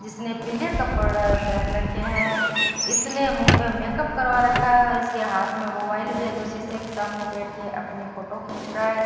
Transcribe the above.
जिसने पीले कपड़ा पहन रखे हैं इसने मुह पे मेकअप करवा रखा है इसके हाथ में मोबाइल भी है जो शीशे के सामने बैठकर अपनी फोटो खींच रहा है।